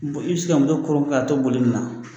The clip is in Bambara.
Bon i bɛ se ka muso kɔrɔ k'a to boli i na.